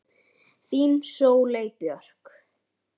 Þín Sóley Björk